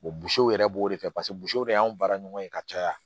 yɛrɛ b'o de kɛ de y'an baara ɲɔgɔn ye ka caya